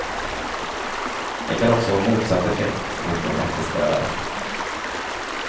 Den kan också ha motsatt effekt mot den eftersträvade.